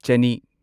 ꯆꯅꯤ